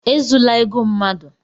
E zula ego mmadụ!